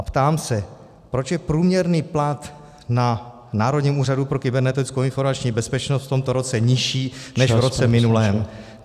A ptám se: Proč je průměrný plat na Národním úřadu pro kybernetickou informační bezpečnost v tomto roce nižší než v roce minulém?